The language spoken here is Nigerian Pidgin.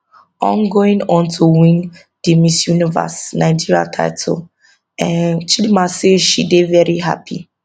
on going on to win di miss universe nigeria title um chidimma say she dey veri hapy